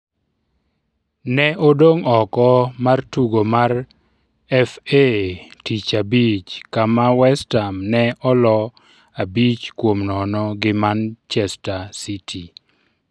Ne odong' oko mar tugo mar FA tich abich kama West Ham ne olo abich kuom nono gi Manchester City.